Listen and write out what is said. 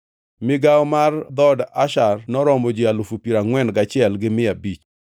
Migawo mar dhood Asher noromo ji alufu piero angʼwen gachiel gi mia abich (41,500).